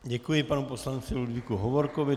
Děkuji panu poslanci Ludvíku Hovorkovi.